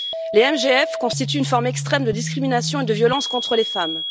Les MGF constituent une forme extrême de discrimination et de violence contre les femmes.